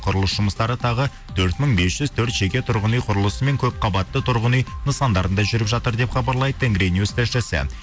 құрылыс жұмыстары тағы төрт мың бес жүз төрт жеке тұрғын үй құрылысымен көпқабатты тұрғын үй нысандарында жүріп жатыр деп хабарлайды тенгринюс тілшісі